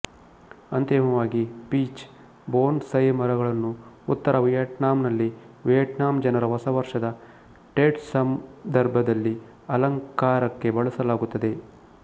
ಅಂತಿಮವಾಗಿ peach bonsai ಮರಗಳನ್ನು ಉತ್ತರ ವಿಯೆಟ್ನಾಂನಲ್ಲಿ ವಿಯೆಟ್ನಾಂ ಜನರ ಹೊಸವರ್ಷದ ಟೆಟ್ಸಂದರ್ಭದಲ್ಲಿ ಅಲಂಕಾರಕ್ಕೆ ಬಳಸಲಾಗುತ್ತದೆ